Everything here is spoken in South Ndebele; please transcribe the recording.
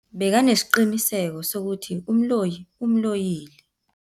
Bekanesiqiniseko sokuthi umloyi umloyile.